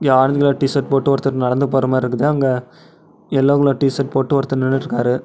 இங்க orange colour T shirt போட்டு ஒருத்தர் நடந்து போறமாரி இருக்குது. அங்க எல்லோ கலர் டி_ஷர்ட் போட்டு ஒருத்தர் நின்னுட்டுருக்காரு.